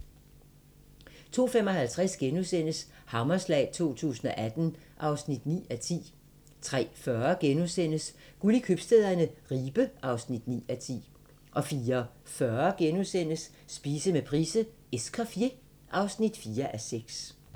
02:55: Hammerslag 2018 (9:10)* 03:40: Guld i købstæderne - Ribe (9:10)* 04:40: Spise med Price: "Escoffier" (4:6)*